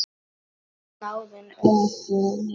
Er snáðinn öfugur?